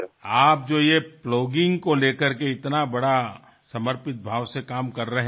আপনি যে এত উৎসাহের সঙ্গে প্লগিঙ নিয়ে সমর্পিত ভাবে কাজ করেচলেছেন